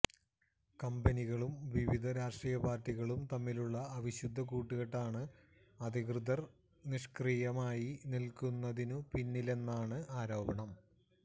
കമ്പനികളും വിവിധ രാഷ്ട്രീയപാർട്ടികളും തമ്മിലുള്ള അവിശുദ്ധ കൂട്ടുകെട്ടാണ് അധികൃതർ നിഷ്ക്രിയമായി നിൽക്കുന്നതിനു പിന്നിലെന്നാണ് ആരോപണം